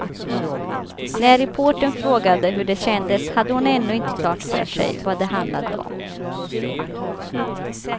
När reportern frågade hur det kändes hade hon ännu inte klart för sig vad det handlade om.